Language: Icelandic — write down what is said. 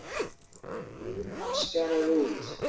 an líf hans fjaraði út.